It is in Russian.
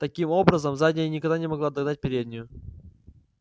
таким образом задняя никогда не могла догнать переднюю